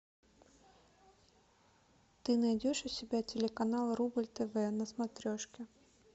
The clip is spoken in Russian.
ты найдешь у себя телеканал рубль тв на смотрешке